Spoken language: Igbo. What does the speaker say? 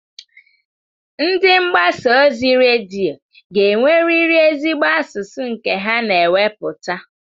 Ndị mgbasa ozi redio ga-enwerịrị ezigbo asụsụ nke ha na-ewepụta.